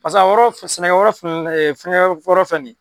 Paseke a yɔrɔ sɛnɛ yɔrɔ filɛ nin ye